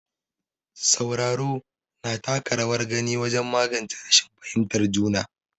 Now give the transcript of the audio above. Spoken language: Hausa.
Sauraro, na taka rawar gani wajen magance rashin fahimtar juna.